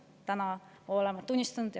Täna oleme seda tunnistanud.